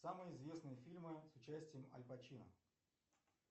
самые известные фильмы с участием аль пачино